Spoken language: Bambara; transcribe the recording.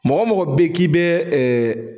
Mɔgɔ mɔgɔ bɛ ye k'i bɛ